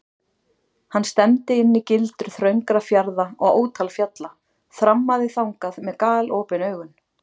Hann stefndi inn í gildru þröngra fjarða og ótal fjalla, þrammaði þangað með galopin augun.